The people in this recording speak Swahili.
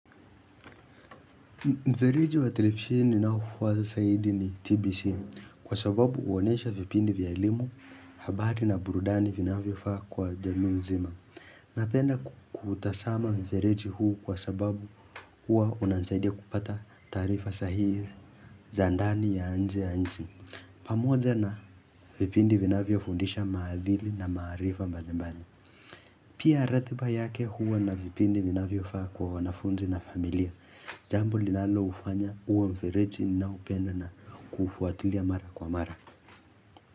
Mfereji wa televisheni na ufuwa za saidi ni TBC kwa sababu uonesha vipindi vya limo, habati na burudani vinafyo faa kwa jamiu nzima. Napenda kuutazama mfereji huu kwa sababu huwa unanisaidia kupata taarifa sahihii. Za ndani ya nje ya nchi. Pamoja na vipindi vinavyofundisha maadili na maarifa mbalimbali. Pia ratiba yake huwa na vipindi vinavyofaa kwa wanafunzi na familia. Jambo linaloufanya uwe mfereji ninaupenda na kufuatilia mara kwa mara.